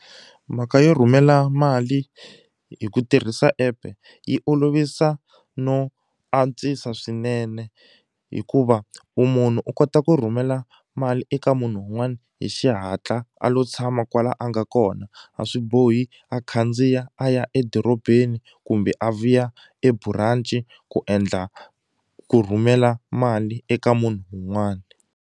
Mhaka yo rhumela mali hi ku tirhisa epe yi olovisa no antswisa swinene hikuva wu munhu u kota ku rhumela mali eka munhu wun'wani hi xihatla a lo tshama kwala a nga kona a swi bohi a khandziya a ya edorobeni kumbe a vuya eburanci ku endla ku rhumela mali eka munhu wun'wani.